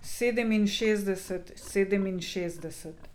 Sedeminšestdeset, sedeminšestdeset.